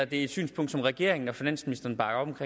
det er et synspunkt som regeringen og finansministeren bakker op